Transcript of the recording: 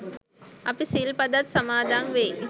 අපි සිල් පදත් සමාදන් වෙයි.